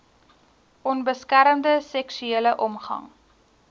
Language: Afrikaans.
onbeskermde seksuele omgang